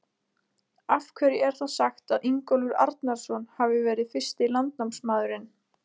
Af hverju er þá sagt að Ingólfur Arnarson hafi verið fyrsti landnámsmaðurinn?